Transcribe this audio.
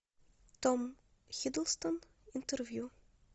том хиддлстон интервью